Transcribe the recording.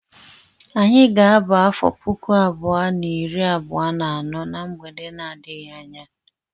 Anyị ga-aba afọ puku abụọ na iri abuo na anọ na mgbe na-adịghị anya.